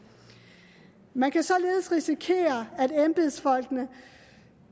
man kan således risikere at embedsfolkene